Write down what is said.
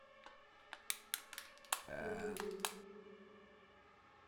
конове